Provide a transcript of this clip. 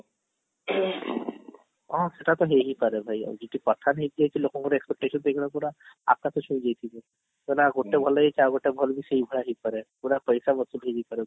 ହଁ ସେଟା ତ ହେଇ ପାରେ ଭାଇ କହିଲା ଗୋଟେ ଭଲ ହେଇଛି ଆଉ ଗୋଟେ ଭଲ ବି ସେଇ ଭଳିଆ ହେଇପାରେ ପୁରା ପଇସା ବସୁଲ ହେଇପାରେ ମୋର